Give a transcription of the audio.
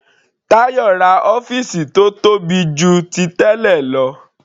Tayo ra ọ́fìsì tó tóbi jù ti tẹ́lẹ̀ lọ.